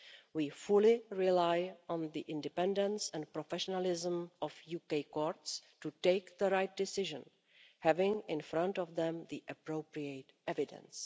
We fully rely on the independence and professionalism of the UK courts to take the right decision, having in front of them the appropriate evidence.